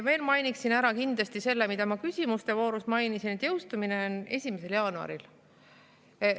Veel mainiksin ära kindlasti selle, mida ma küsimuste voorus mainisin, et jõustumine on 1. jaanuaril.